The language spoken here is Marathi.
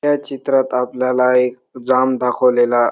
या चित्रात आपल्याला एक जाम दाखवलेला--